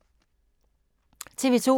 TV 2